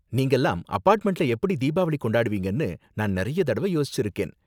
நீங்கலாம் அபார்ட்மெண்ட்ல எப்படி தீபாவளி கொண்டாடுவீங்கனு நான் நிறைய தடவ யோசிச்சுருக்கேன்.